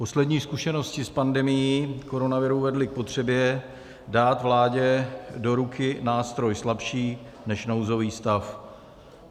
Poslední zkušenosti s pandemií koronaviru vedly k potřebě dát vládě do ruky nástroj slabší než nouzový stav.